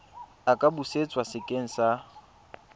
a ka busetswa sekeng sa